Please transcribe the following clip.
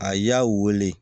A y'a wele